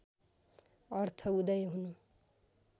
अर्थ उदय हुनु